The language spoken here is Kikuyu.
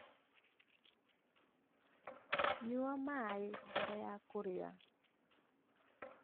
Nyua maĩmbere ya kũrĩa.